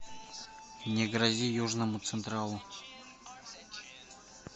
не грози южному централу